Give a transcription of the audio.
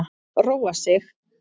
Róa sig.